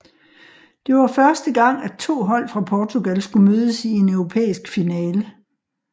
Det var første gang at to hold fra Portugal skulle mødes i en europæisk finale